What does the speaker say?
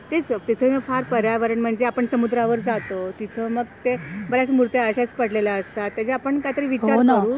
तेच तिथे न फार पर्यावरण म्हणजे आपण समुद्रावर जातो, तिथे मग ते बऱ्याच मुर्त्या अशाच पडलेल्या असतात याची आपण काही तरी विचार करू.